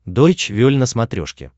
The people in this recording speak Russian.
дойч вель на смотрешке